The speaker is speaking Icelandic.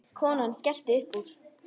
Konan skellti upp úr.